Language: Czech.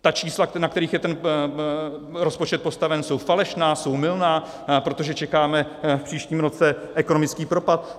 Ta čísla, na kterých je ten rozpočet postaven, jsou falešná, jsou mylná, protože čekáme v příštím roce ekonomický propad?